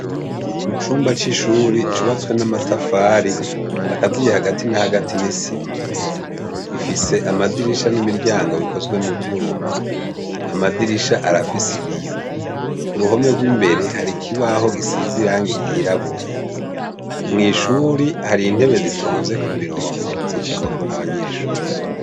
Mu cumba c'ishuri cubatswe n'amatafari akaziye hagati na hagati n'isima gifise amadirisha n'imiryango bikozwe mu vyuma amadirisha arafise ibiyo. Ku ruhome rw'imbere, hari ikibaho gisize irangi ryirabura. Mw'ishuri hari intebe zitonze ku mirongo zicarwako n'abanyeshuri.